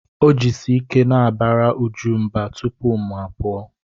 O jisi ike na-abara Uju mba tupu mụ apụọ.